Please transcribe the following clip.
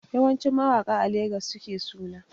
Yawanci mawaƙa a Legas suke suna